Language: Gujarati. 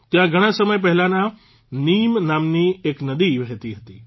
ત્યાં ઘણા સમય પહેલાં નીમ નામની એક નદી વહેતી હતી